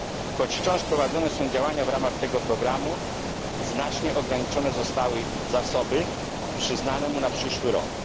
Choć wciąż prowadzone są działania w ramach tego programu, znacznie ograniczone zostały zasoby przyznane mu na przyszły rok.